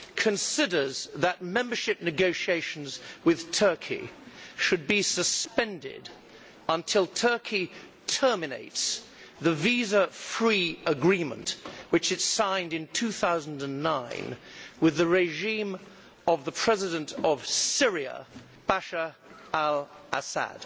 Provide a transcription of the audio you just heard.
Considers that membership negotiations with Turkey should be suspended until Turkey terminates the visa free agreement which it signed in 2009 with the regime of the President of Syria, Bashar al Assad'.